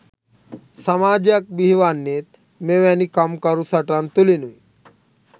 සමාජයක් බිහිවන්නේත් මෙවැනි කම්කරු සටන් තුළිනුයි.